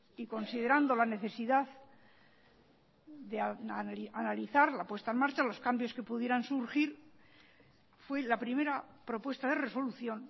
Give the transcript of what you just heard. y considerando la necesidad de analizar la puesta en marcha los cambios que pudieran surgir fue la primera propuesta de resolución